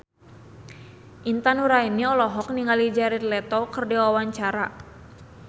Intan Nuraini olohok ningali Jared Leto keur diwawancara